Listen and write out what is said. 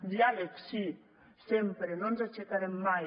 diàleg sí sempre no ens aixecarem mai